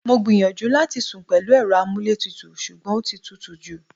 Mo gbìyànjú láti sún pẹ̀lú èrò amuletutu sugbon ọtí tútù jú.